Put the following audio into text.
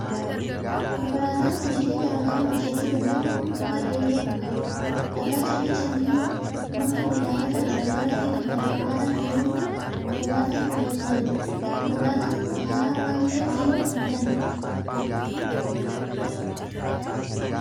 Konkolaataan hojiilee garaa hojjechuu danda'u kun bifa keelloo kan qabudha. Dhagaa, cirracha, biyyoo, muka, midhaanota garaa garaa fi kan kana fakkaatan guuruuf konkolaataa nu gargaarudha. Konkolaataan kun haaraa waan ta'eef dhiyoo kan bitamedha.